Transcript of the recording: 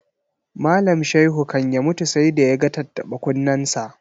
Malam Shaihu kan ya mutu sai da ya ga tattaɓa-kunnensa.